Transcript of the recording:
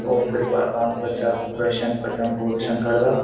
ओ फिर कोई अकाउंट कु बच्चा त्वेशन पछाणु क्वेशन करदा।